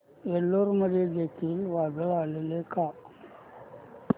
एलुरू मध्ये देखील वादळ आलेले का